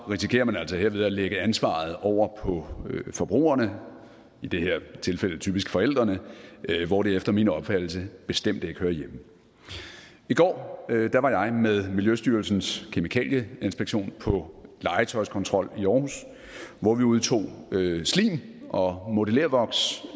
risikerer man altså herved at lægge ansvaret over på forbrugerne i det her tilfælde typisk forældrene hvor det efter min opfattelse bestemt ikke hører hjemme i går var jeg med miljøstyrelsens kemikalieinspektion på legetøjskontrol i aarhus hvor vi udtog slim og modellervoks